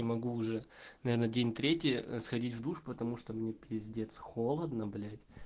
не могу уже наверное день третий сходить в душ потому что мне пиздец холодно блять